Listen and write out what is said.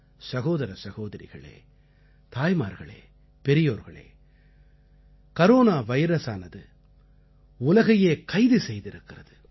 சகோதர சகோதரிகளே தாய்மார்களே பெரியோர்களே கரோனா வைரஸானது உலகையே கைது செய்திருக்கிறது